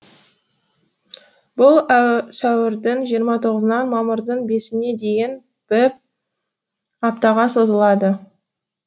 бұл сәуірдің жиырма тоғызынан мамырдың бесіне дейін біп аптаға созылады